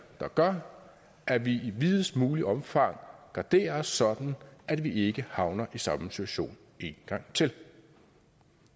der gør at vi i videst muligt omfang garderer os sådan at vi ikke havner i samme situation en gang til